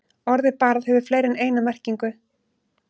Orðið barð hefur fleiri en eina merkingu.